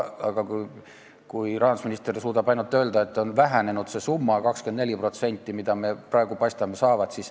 Aga rahandusminister suudab ainult seda öelda, et paistab nii, et see summa, mille me saame, väheneb 24%.